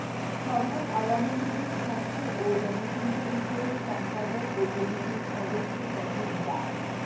সভায় আওয়ামী লীগের স্বাস্থ্য ও জনসংখ্যা বিষয়ক সম্পাদক ও কমিটির সদস্য সচিব ডা